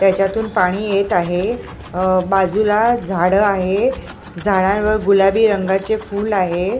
त्याच्यातून पाणी येत आहे अह बाजूला झाडं आहे झाडावर गुलाबी रंगाचे फुल आहे.